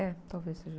É, talvez seja.